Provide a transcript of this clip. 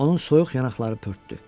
Onun soyuq yanaqları pörtdü.